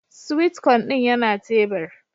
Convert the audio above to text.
"Sweet corn" din yana tebur.